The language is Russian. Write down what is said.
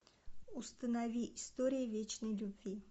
установи история вечной любви